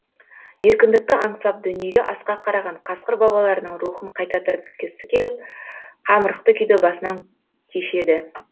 еркіндікті аңсап дүниеге асқақ қараған қасқыр бабаларының рухын қайта тірілткісі келіп қамырықты күйді басынан кешеді